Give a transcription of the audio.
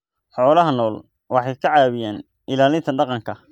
Xoolaha nool waxay ka caawiyaan ilaalinta dhaqanka.